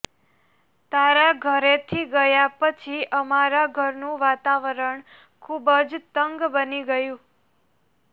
તારા ઘરેથી ગયા પછી અમારા ઘરનું વાતાવરણ ખૂબ જ તંગ બની ગયું